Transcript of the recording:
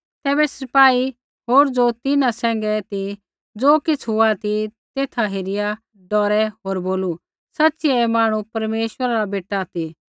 तैबै सिपाही होर ज़ो तिन्हां सैंघै ती ज़ो किछ़ हुआ तेथा हेरिया डौरै होर बोलू सच़िऐ ऐ मांहणु परमेश्वरा रा बेटा ती